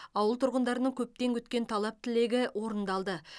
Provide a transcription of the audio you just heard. ауыл тұрғындарының көптен күткен талап тілегі орындалды